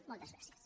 moltes gràcies